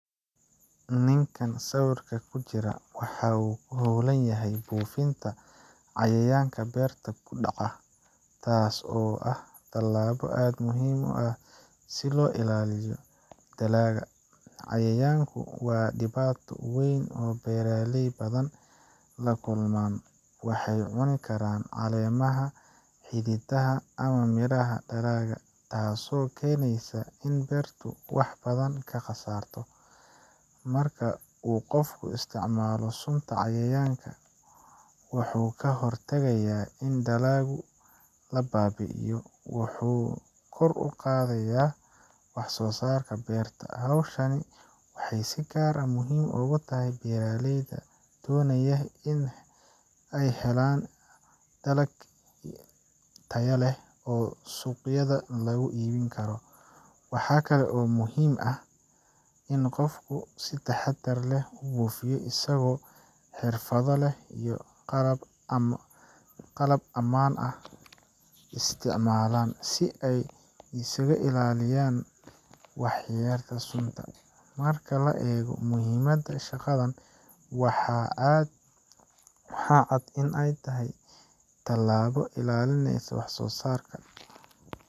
Ninkaan sawirka ku jira waxa uu ku hawlan yahay buufinta cayayaanka beerta ku dhaca, taas oo ah tallaabo aad muhiim u ah si loo ilaaliyo dalagga. Cayayaanku waa dhibaato weyn oo beeraley badan la kulmaan waxay cuni karaan caleemaha, xididada, ama miraha dalagga, taasoo keenaysa in beertu wax badan ka khasarto. Marka uu qofku isticmaalo sunta cayayaanka, wuxuu ka hortagayaa in dalagga la baabi’iyo, wuxuuna kor u qaadayaa wax soo saarka beerta. Hawshan waxay si gaar ah muhiim ugu tahay beeraleyda doonaya in ay helaan dalag tayo leh oo suuqyada lagu iibin karo. Waxaa kale oo muhiim ah in qofku si taxaddar leh u buufiyo, isagoo xirfado leh iyo qalab ammaan ah isticmaala, si uu isaga ilaaliyo waxyeellada sunta. Marka la eego muhiimadda shaqadan, waxaa cad in ay tahay tallaabo ilaalinaysa wax soo saarka.